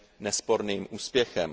nesporným úspěchem.